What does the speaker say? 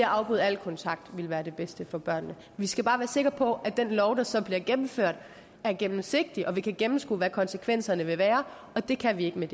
afbryde al kontakt ville være det bedste for børnene vi skal bare være sikre på at den lov der så bliver gennemført er gennemsigtig og at vi kan gennemskue hvad konsekvenserne vil være og det kan vi ikke med